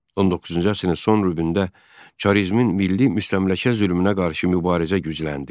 19-cu əsrin son rübündə çarizmin milli müstəmləkə zülmünə qarşı mübarizə gücləndi.